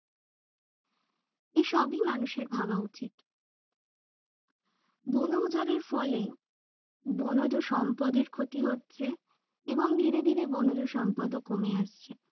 এসবই মানুষের ভাবা উচিত বন উজারের ফলে বনজ সম্পদের ক্ষতি হচ্ছে এবং ধীরে ধীরে বনজ সম্পদও কমে আসছে।